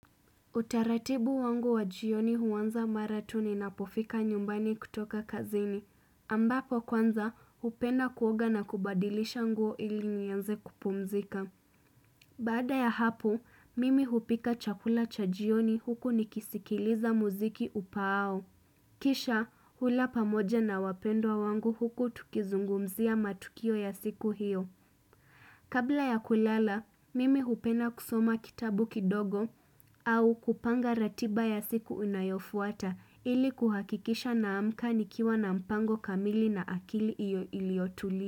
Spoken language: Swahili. Utaratibu wangu wa jioni huanza mara tu ninapofika nyumbani kutoka kazini, ambapo kwanza hupenda kuoga na kubadilisha nguo ili nianze kupumzika. Baada ya hapo, mimi hupika chakula cha jioni huku nikisikiliza muziki upaao. Kisha, hula pamoja na wapendwa wangu huku tukizungumzia matukio ya siku hiyo. Kabla ya kulala, mimi hupenda kusoma kitabu kidogo au kupanga ratiba ya siku unayofuata ili kuhakikisha naamka nikiwa na mpango kamili na akili iyo iliotulia.